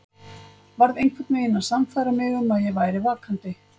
Varð einhvern veginn að sannfæra mig um að ég væri vakandi.